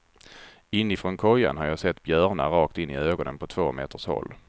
Inifrån kojan har jag sett björnar rakt in i ögonen på två meters håll.